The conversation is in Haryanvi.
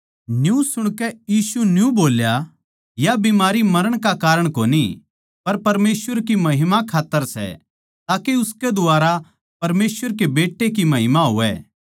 न्यू सुणके यीशु न्यू बोल्या या बीमारी मरण का कारण कोनी पर परमेसवर की महिमा खात्तर सै ताके उसकै द्वारा परमेसवर कै बेटै की महिमा होवै